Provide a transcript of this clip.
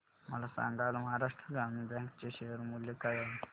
मला सांगा आज महाराष्ट्र ग्रामीण बँक चे शेअर मूल्य काय आहे